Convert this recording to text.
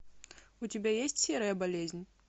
у тебя есть серая болезнь